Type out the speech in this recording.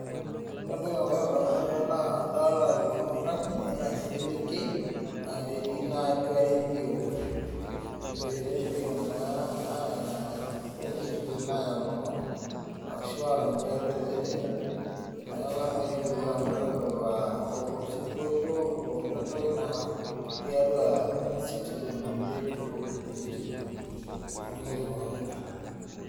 Ore entoki naloito ndamunot tene naa orbarnoti o eselenkei natii atua redio, eredioo naa aa e Citizen aaya ilomon ashu aarany tiatua Citizen, neeku eeta ake ninye orkilikuai oshomoita aitudutaa tiatua Citizen aa olo singolio aa olentoki nara tiatua tiatu Citizen aa redio e Citizen neeku nijia ikunakino.